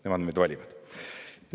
Nemad meid valivad.